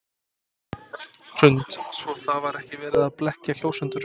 Hrund: Svo það var ekki verið að blekkja kjósendur?